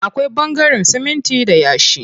Akwai ɓangaren siminti da yashi.